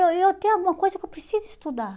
Eu eu tenho alguma coisa que eu preciso estudar.